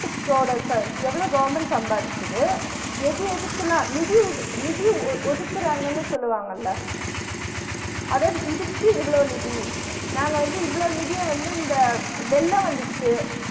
எவ்ளோ government சம்பாதிக்குது எது எதுக்கெல்லா நிதி ஒதி நிதி ஒதுக்குராங்கன்னு சொல்வாங்கள்ள அதாவது இதுக்கு இவ்ளோ நிதி நாங்க வந்து இவ்ளோ நிதிய வந்து இந்த வெள்ளம் வந்திச்சு